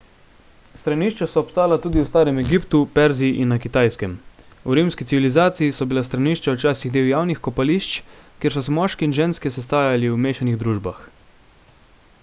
stranišča so obstajala tudi v starem egiptu perziji in na kitajske v rimski civilizaciji so bila stranišča včasih del javnih kopališč kjer so se moški in ženske sestajali v mešanih družbah